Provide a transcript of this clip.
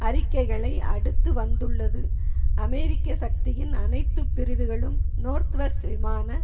அறிக்கைகளை அடுத்து வந்துள்ளது அமெரிக்க சக்தியின் அனைத்து பிரிவுகளும் நோர்த்வெஸ்ட் விமான